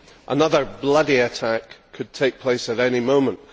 Another bloody attack could take place at any moment.